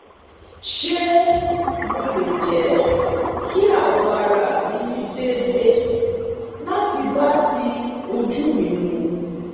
se mo le je ki awo ara mi ni deede lati ba ti oju mi mu